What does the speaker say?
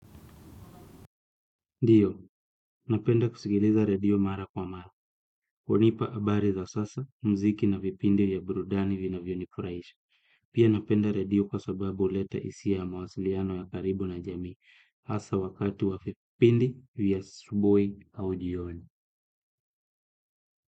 Ndiyo, napenda kusikiliza radio mara kwa mara. Hunipa habari za sasa, mziki na vipindi ya burudani vinavyo nifurahisha. Pia napenda radio kwa sababu huleta hisia ya mawasiliano ya karibu na jamii. Hasa wakati wa vipindi vya asubuhi au jioni.